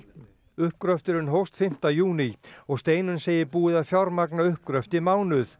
uppgröfturinn hófst fimmta júní og Steinunn segir búið að fjármagna uppgröft í mánuð